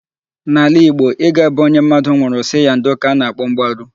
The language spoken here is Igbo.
N'ala Igbo, ịga be onye mmadụ nwụụrụ sị ya ndo ka a na-akpọ mgbaru.